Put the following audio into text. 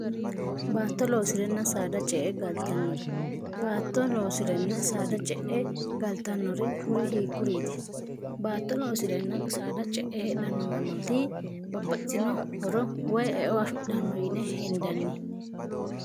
baatto loosi'renna saada ce e galtannore baatto loosirenna saada ce'e galtannore kuri hiikkuriiti baatto loosi'renna saada ce'e hedhannomannooti babbatino horo woy eo afidhanno yine hindanni